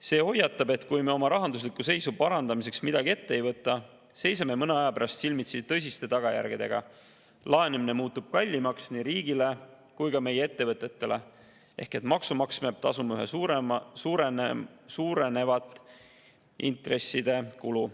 See hoiatab, et kui me oma rahandusliku seisu parandamiseks midagi ette ei võta, seisame mõne aja pärast silmitsi tõsiste tagajärgedega: laenamine muutub kallimaks nii riigile kui ka meie ettevõtetele ehk maksumaksja peab tasuma üha suurenevat intresside kulu.